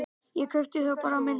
Ég kaupi þá bara minna.